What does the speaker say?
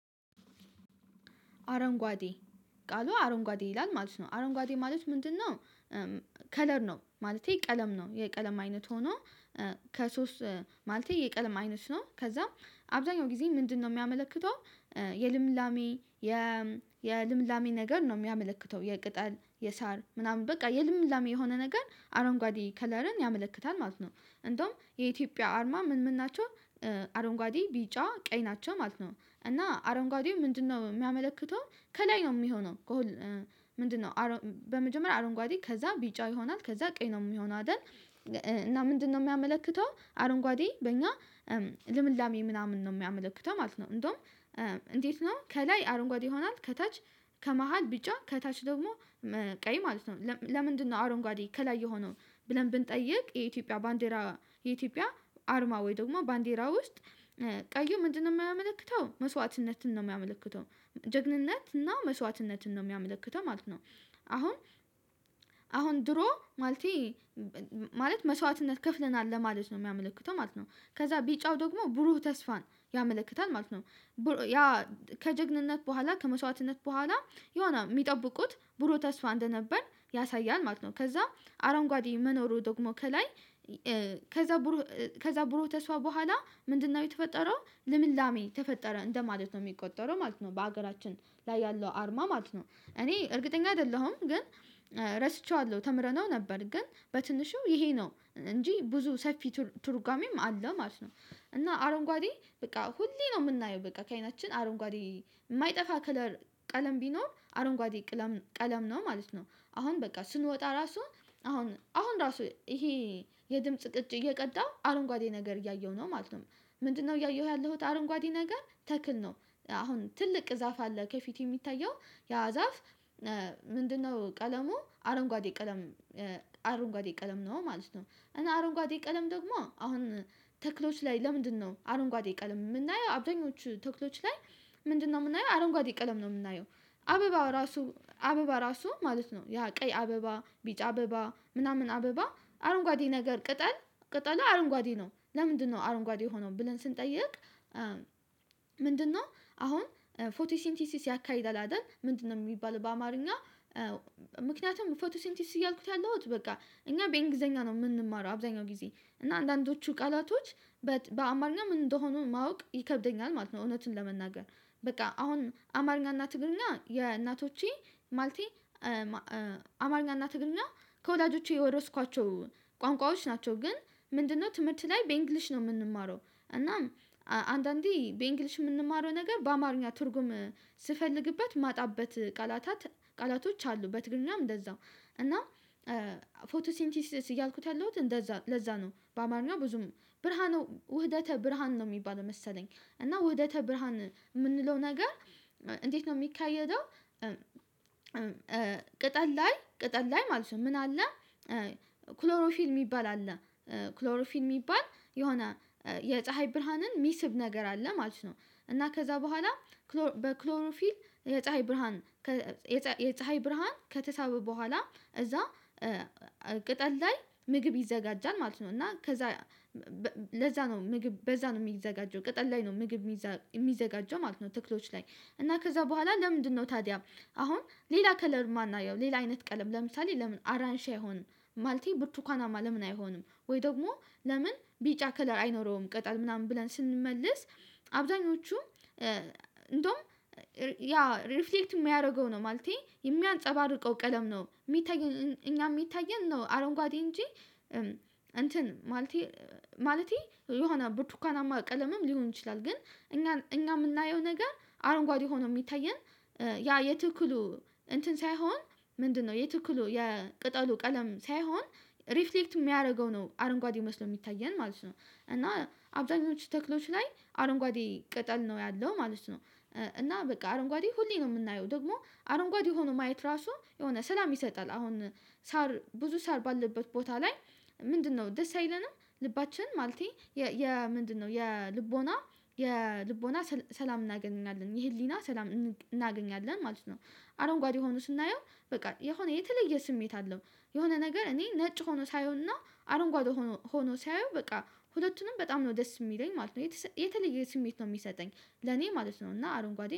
አረንጓዴ ቃሉ አረንጓዴ ይላል ማለት ነው አረንጓዴ ማለት ምንድነው? ከለር ነው ማለቴ ቀለም ነው የቀለም አይነት ሆኖ ከሶስት ማለቴ የቀለም አይነት ነው ከዛም አብዛኛው ጊዜ ምንድነው የሚያመለክተው? የልምላሜ የ የ የልምላሜ ነገር ነው የሚያመለክተው የቅጠል የሳር ምናምን በቃ የልምላሜ የሆነ ነገር አረንጓዴ ከለርን ያመለክታል ማለት ነው። እንደውም የኢትዮጵያ አርማ ምን ምን ናቸው? አረንጓዴ ቢጫ ቀይ ናቸው ማለት ነው። እና አረንጓዴ ምንድነው የሚያመለክተው ከላይ ነው የሚሆነው? ምንድነው በመጀመሪያ አረንጓዴ ከዛ ቢጫ ይሆናል ከዛ ቀኝ ነው የምሆነው አይደል? እና ምንድነው የሚያመለክተው አረንጓዴ በእኛ ልምላሜ ምናምን ነው የሚያመለክተው ማለት ነው። እንደውም እንዴት ነው ከላይ አረንጓዴ ይሆናል ከታች ከመሃል ቢጫ ከታች ደግሞ ቀይ ማለት ነው። ለምንድነው አረንጓዴ ከላይ የሆነውን? ብለን ብንጠይቅ የኢትዮጵያ ባንዲራ የኢትዮጵያ አርማ ወይ ደግሞ ባንዲራ ውስጥ ቀዩ ምንድነው የማያመለክተው መስዋዕትነትን ነው የሚያመለክተው? ጀግንነት እና መስዋዕትነትን ነው የሚያመለክተው ማለት ነው። አሁን አሁን ድሮ ማለቴ ማለት መስዋዕትነት ከፍለናል ለማለት ነው የሚያመለክተው ማለት ነው። ከዛ ቢጫው ደግሞ ብሩህ ተስፋን ያመለክታል ማለት ነው። ያ ከጀግንነት በኋላ ከመስዋዕትነት በኋላ የሆነ የሚጠብቁት ብሩህ ተስፋ እንደነበር ያሳያል ማለት ነው። ከዛ አረንጓዴ መኖሩ ደግሞ ከላይ ከዛ ከዛ ብሮ ተስፋ በኋላ ምንድነው የተፈጠረው ለምላሜ ተፈጠረ እንደማለት ነው የሚቆጠረው ማለት ነው። በሀገራችን ላይ ያለው አርማ ማለት ነው። እኔ እርግጠኛ አይደለሁም ግን። ረስቼዋለሁ ተምረነው ነበር ግን በትንሹ ይሄ ነው እንጂ ብዙ ሰፊ ትርጓሜም አለ ማለት ነው። እና አረንጓዴ በቃ ሁሌ ነው የምናየው በቃ ከአይናችን አረንጓዴ የማይጠፋ ከለር ቀለም ቢኖር አረንጓዴ ቀለም ነው ማለት ነው። አሁን በቃ ስንወጣ ራሱ አሁን አሁን ራሱ ይሄ የድምጽ ቅጭ እየቀዳው አረንጓዴ ነገር እያየሁ ነው ማለት ነው። ምንድነው እያየሁ ያለሁት አረንጓዴ ነገር ተክል ነው። አሁን ትልቅ ዛፍ አለ ከፊት የሚታየው ያ ዛፍ። ምንድነው ቀለሙ አረንጓዴ ቀለም? አረንጓዴ ቀለም ነው ማለት ነው። እና አረንጓዴ ቀለም ደግሞ አሁን ተክሎች ላይ ለምንድነው አረንጓዴ ቀለም የምናየው አብደኞቹ ተክሎች ላይ? ምንድነው የምናየው አረንጓዴ ቀለም ነው የምናየው? አበባ እራሱ አበባ ራሱ ማለት ነው ያ ቀይ አበባ ቢጫ አበባ ምናምን አበባ አረንጓዴ ነገር ቅጠል ቅጠል አረንጓዴ ነው ለምንድነው አረንጓዴ የሆነውን ብለን ስንጠይቅ? ምንድነው አሁን ፎቲሲንቲሲስ ያካሂዳል አይደል? ምንድነው የሚባል በአማርኛ? ምክንያቱም ፎቶሲንቲሲስ እያልኩት ያለሁት በቃ እኛ በእንግሊዘኛ ነው የምንማረው አብዛኛው ጊዜ እና አንዳንዶቹ ቃላቶች በአማርኛ ምን እንደሆኑ ማወቅ ይከብደኛል ማለት ነው። እውነትን ለመናገር። በቃ አሁን አማርኛ እና ትግርኛ የእናቶቼ ማለቴ አማርኛና ትግርኛ ከወላጆቼ የወረስኳቸው ቋንቋዎች ናቸው። ግን ምንድነው ትምህርት ላይ በእንግሊሽ ነው የምንማረው። እናም አንዳንዴ በእንግሊሽ የምንማረው ነገር በአማርኛ ትርጉም ስፈልግበት ማጣበት ቃላታት ቃላቶች አሉ በትግርኛም እንደዛው። እና ፎቶሲንቲስ እያልኩት ያለሁት እንደዛ ለዛ ነው በአማርኛ ብዙም ብርሃኑ ውህደተ ብርሃን ነው የሚባለው መሰለኝ። እና ወደተ ብራሃም የምንለው ነገር እንዴት ነው የሚካሄደው? ቅጠል ላይ ቅጠል ላይ ማለት ነው ምን አለ? ክሎሮፊል የሚባል አለ። ክሎሮፊል የሚባል የሆነ የፀሀይ ብርሃንን የሚስብ ነገር አለ ማለት ነው። እና ከዛ በኋላ በክሎሮፊል የፀሀይ ብርሃን የፀሀይ ብርሃን ከተሳበ በኋላ እዛ ቅጠል ላይ ምግብ ይዘጋጃል። ማለት ነው። እና ከዛ ለዛ ነው ምግብ በዛ ነው የሚዘጋጀው ቅጠል ላይ ነው ምግብ የሚዘጋጀው ማለት ነው። ትክሎች ላይ እና ከዛ በኋላ ለምንድነው ታዲያ? አሁን ሌላ ከለር የማናየው ሌላ አይነት ቀለም ለምሳሌ ለምን አራንሺ አይሆንም? ማለቴ ብርቱካናማ ለምን አይሆንም? ወይ ደግሞ ለምን ቢጫ ከለር አይኖረውም ቅጠል ምናምን ብለን ስንመልስ። አብዛኞቹም እንደውም ያ ሪፍሌክት የሚያደርገው ነው ማለቴ የሚያንፀባርቀው ቀለም ነው የሚታየን እኛ የሚታየን ነው አረንጓዴ እንጂ። እንትን ማለቴ ማለቴ የሆነ ብርቱካናማ ቀለምም ሊሆን ይችላል። ግን እኛ እኛ የምናየው ነገር አረንጓዴ ሆኖ የሚታየን። ያ የትክሉ እንትን ሳይሆን ምንድነው የትክሉ የቅጠሉ ቀለም ሳይሆን። ሪፍሌክት የሚያደርገው ነው አረንጓዴ መስለው የሚታየን ማለት እና። አብዛኞቹ ተክሎች ላይ አረንጓዴ ቅጠል ነው ያለው ማለት ነው። እና በቃ አረንጓዴ ሁሌ ነው የምናየው ደግሞ አረንጓዴ ሆኖ ማየት ራሱ የሆነ ሰላም ይሰጣል። አሁን ሳር ብዙ ሳር ባለበት ቦታ ላይ? ምንድነው ደስ አይለንም ልባችን ማለቴ የ ምንድነው የልቦና የልቦና ሰላም እናገኛለን የህሊና ሰላም እናገኛለን ማለት ነው። አረንጓዴ ሆኖ ስናየው በቃ የሆነ የተለየ ስሜት አለው። የሆነ ነገር እኔ ነጭ ሆኖ ሳየውና አረንጓዴ ሆኖ ሳየው በቃ ሁለቱንም በጣም ነው ደስ የሚለኝ ማለት ነው የተለየ ስሜት ነው የሚሰጠኝ። ለኔ ማለት ነው እና አረንጓዴ